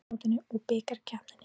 Íslandsmótinu og Bikarkeppninni.